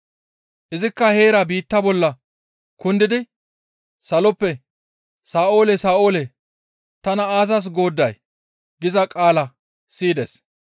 Izikka heerakka biitta bolla kundidi saloppe, «Sa7oole, Sa7oole, tana aazas goodday?» giza qaala siyides.